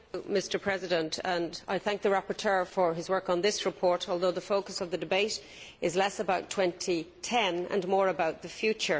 Mr President, I thank the rapporteur for his work on this report, although the focus of the debate is less about 2010 and more about the future.